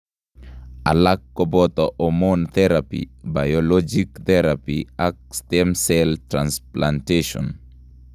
Alak kobooto hormone therapy, biologic therapy ak stemcell transplantation